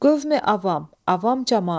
Qövmi-avam, avam camaat.